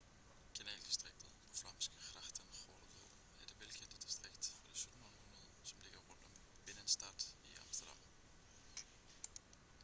kanaldistriktet på flamsk: grachtengordel er det velkendte distrikt fra det 17. århundrede som ligger rundt om binnenstad i amsterdam